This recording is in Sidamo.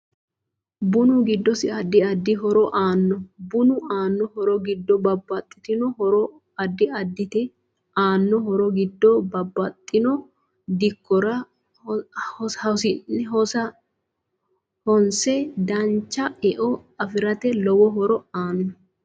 BUnu giddosi addi addi horo aano bunu aano horo giddo babaxitino horo addi addite aano horo giddo babaxino dikkora hosiinae dancha e'o afirate lowo horo aanno